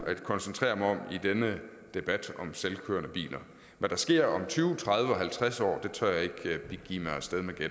at koncentrere mig om i denne debat om selvkørende biler hvad der sker om tyve tredive og halvtreds år tør jeg ikke begive